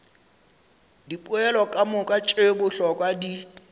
dipoelo kamoka tše bohlokwa di